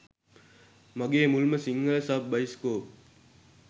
මගේ මුල්ම Sinhala sub bioscope